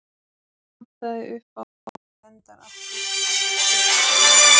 Ef eitthvað vantaði upp á vorum við sendar aftur til baka til að rífast.